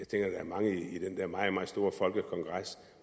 der er mange i den der meget meget store folkekongres